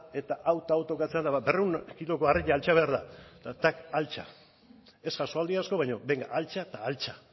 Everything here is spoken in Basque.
eta hau eta hau tokatzen da eta berrehun kiloko harri altxa behar da eta tak altxa ez jasoaldi asko baina benga altxa eta altxa